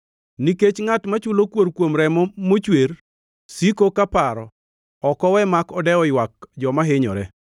Nikech ngʼat machulo kuor kuom remo mochwer siko kaparo; ok owe mak odewo ywak joma hinyore.